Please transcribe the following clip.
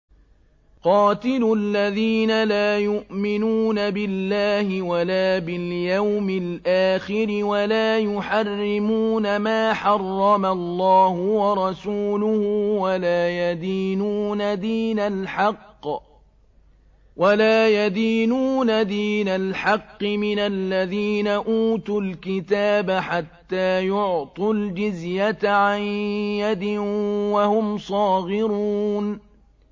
قَاتِلُوا الَّذِينَ لَا يُؤْمِنُونَ بِاللَّهِ وَلَا بِالْيَوْمِ الْآخِرِ وَلَا يُحَرِّمُونَ مَا حَرَّمَ اللَّهُ وَرَسُولُهُ وَلَا يَدِينُونَ دِينَ الْحَقِّ مِنَ الَّذِينَ أُوتُوا الْكِتَابَ حَتَّىٰ يُعْطُوا الْجِزْيَةَ عَن يَدٍ وَهُمْ صَاغِرُونَ